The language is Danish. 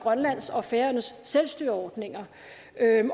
grønlands og færøernes selvstyreordninger